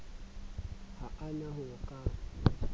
ha a na ho ka